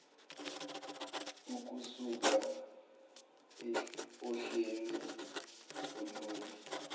ukusuka ohleni olunye